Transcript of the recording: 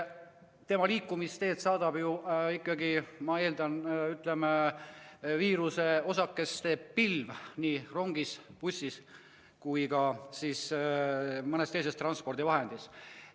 Tema liikumisteed saadab ju ikkagi, ma eeldan, viiruseosakeste pilv nii rongis, bussis kui ka mõnes teises transpordivahendis.